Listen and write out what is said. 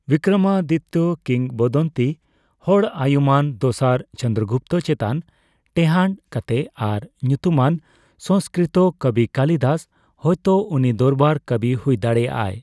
ᱵᱤᱠᱠᱚᱨᱚᱢᱟᱫᱤᱛᱛᱚ ᱠᱤᱝᱵᱫᱚᱱᱛᱤ ᱦᱚᱲ, ᱟᱭᱩᱢᱟᱹᱱ ᱫᱚᱥᱟᱨ ᱪᱚᱱᱫᱚᱨᱚᱜᱩᱯᱛᱚ ᱪᱮᱛᱟᱱ ᱴᱮᱦᱟᱱᱰ ᱠᱟᱛᱮ ᱟᱨ ᱧᱩᱛᱩᱢᱟᱱ ᱥᱚᱝᱥᱠᱨᱤᱛᱤ ᱠᱚᱵᱤ ᱠᱟᱞᱤᱫᱟᱥ ᱦᱚᱭᱛᱚ ᱩᱱᱤ ᱫᱚᱨᱵᱟᱨ ᱠᱚᱵᱤ ᱦᱩᱭ ᱫᱟᱲᱮᱭᱟᱜᱼᱟᱭ ᱾